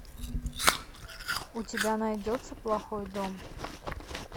у тебя найдется плохой дом